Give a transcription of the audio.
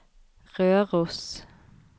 Røros